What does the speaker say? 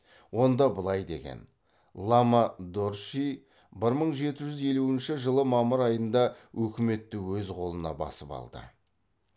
онда былай деген лама дорчжи бір мың жеті жүз елуінші жылы мамыр айында өкіметті өз қолына басып алды